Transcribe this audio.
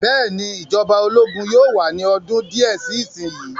Bẹ́ẹ̀ ni, ìjọba ológun yóò wà ní ọdún díẹ̀ sí ìsìn yìí.